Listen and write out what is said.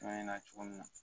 An ɲɛna cogo min na